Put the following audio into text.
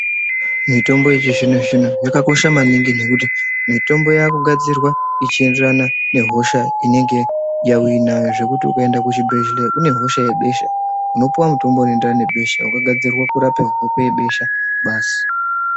Mitombo yechizvino zvino yakanakira pakuti mitombo yakugadzirwa nemaenderano nehosha yaunenge uinayo zvekuti ukaenda kuchibhedhlera une hosha yebesha unopuwa mutombo unoenderana nebesha wakagadzirwa kuti ndewe besha basi.